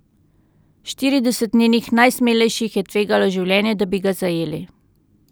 Štirideset njenih najsmelejših je tvegalo življenje, da bi ga zajeli.